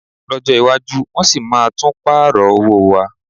Lọ́jọ́ iwájú, wọ́n sì máa tún pààrọ̀ owó wa